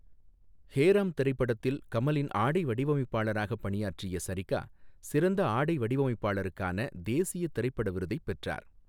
ஹே ராம் திரைப்படத்தில் கமலின் ஆடை வடிவமைப்பாளராக பணியாற்றிய சரிகா சிறந்த ஆடை வடிவமைப்பாளருக்கான தேசிய திரைப்பட விருதைப் பெற்றார்.